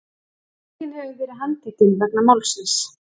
Enginn hefur verið handtekinn vegna málsins